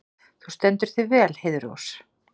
Þú stendur þig vel, Heiðrós!